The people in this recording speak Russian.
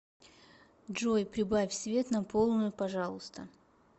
джой прибавь свет на полную пожалуйста